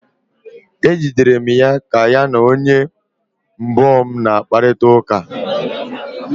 M jidere ya ka ya na oyi m gboo na kparịta ụka